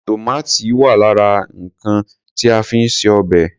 Tòmátì wà lára nǹkan ti a fi ń ṣe obẹ̀.